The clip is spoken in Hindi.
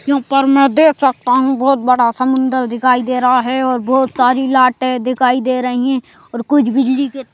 यहाँ पर मैं देख सकता हूँ बहुत बड़ा समुंदर दिखाई दे रहा है और बहुत सारी लाइटें दिखाई दे रही हैं और कुछ बिजली के --